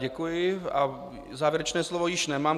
Děkuji a závěrečné slovo již nemám.